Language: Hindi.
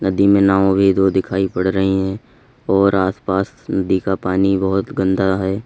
नदी में नाव वो भी दो दिखाई पड़ रही है और आसपास नदी का पानी बहोत गंदा है।